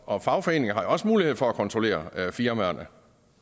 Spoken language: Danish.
og fagforeningen har jo også mulighed for at kontrollere firmaerne